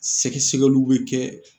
Sɛgɛ sɛgɛliw bɛ kɛ